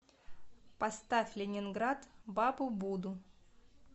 поставь ленинград бабубуду